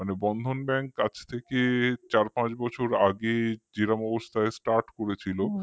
bandhan bank আজ থেকে চার পাঁচ বছর আগে যেরকম অবস্থায় start করেছিল